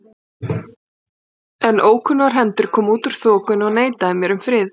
Faðir þinn sagði mér að þú hefðir verið að gefa út nýja ljóðabók.